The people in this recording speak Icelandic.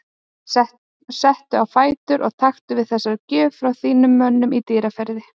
Stattu á fætur og taktu við þessari gjöf frá þínum mönnum í Dýrafirði.